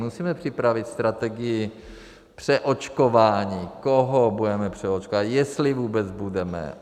Musíme připravit strategii přeočkování, koho budeme přeočkovávat, jestli vůbec budeme.